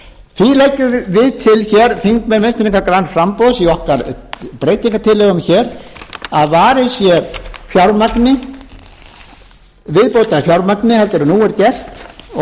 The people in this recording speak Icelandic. því leggjum við hér til þingmenn vinstri hreyfingarinnar græns framboðs í okkar breytingartillögum hér að varið sé viðbótarfjármagni heldur en nú er gert og meirihlutinn hefur